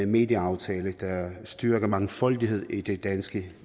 medieaftale der styrker mangfoldigheden i det danske